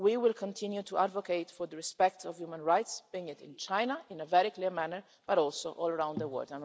We will continue to advocate for the respect of human rights, be it in China, in a very clear manner, but also all around the word.